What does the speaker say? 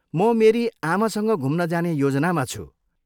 म मेरी आमासँग घुम्न जाने योजनामा छु।